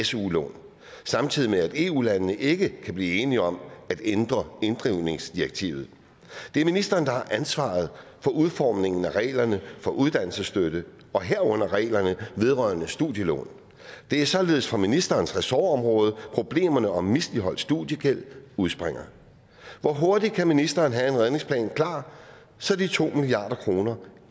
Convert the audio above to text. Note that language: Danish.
su lån samtidig med at eu landene ikke kan blive enige om at ændre inddrivningsdirektivet det er ministeren der har ansvaret for udformningen af reglerne for uddannelsesstøtte og herunder reglerne vedrørende studielån det er således fra ministerens ressortområde problemerne om misligholdt studiegæld udspringer hvor hurtigt kan ministeren have en redningsplan klar så de to milliard kroner